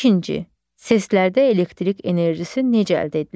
İkinci: Səslərdə elektrik enerjisi necə əldə edilir?